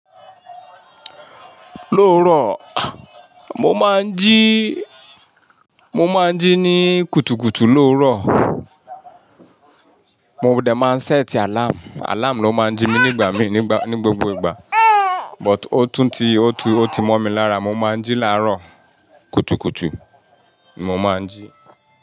Lóòrọ, mo máa ń jí, mo máa ń jí ní kùtùkùtù lóòrọ. Mo ò dẹ̀ máa ń sẹ́ẹ̀tì àláàmù, àláàmù ló máa ń jí mi nígbà mí nígbà, ní gbogbo ìgbà. But ó tún ti, ó ti mọ̀ mí lára, mo máa ń jí láàárọ̀. Kùtùkùtù, mo máa ń jí.